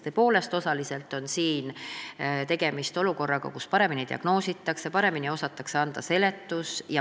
Tõepoolest, osaliselt on tegemist sellega, et paremini diagnoositakse, paremini osatakse anda seletust.